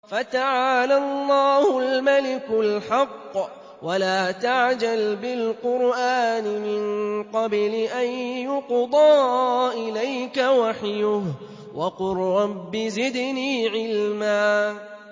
فَتَعَالَى اللَّهُ الْمَلِكُ الْحَقُّ ۗ وَلَا تَعْجَلْ بِالْقُرْآنِ مِن قَبْلِ أَن يُقْضَىٰ إِلَيْكَ وَحْيُهُ ۖ وَقُل رَّبِّ زِدْنِي عِلْمًا